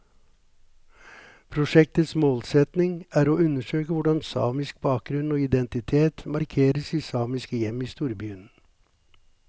Prosjektets målsetning er å undersøke hvordan samisk bakgrunn og identitet markeres i samiske hjem i storbyen.